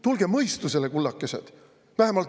Tulge mõistustele, kullakesed!